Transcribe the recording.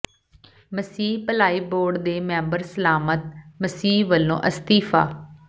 ਮਸੀਹ Bhalai board ਦੇ member Salamat Masih ਵੱਲੋਂ ਅਸਤੀਫ਼ਾ